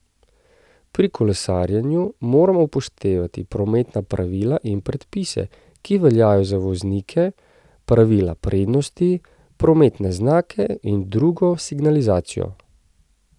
Pri kolesarjenju moramo upoštevati prometna pravila in predpise, ki veljajo za voznike, pravila prednosti, prometne znake in drugo signalizacijo.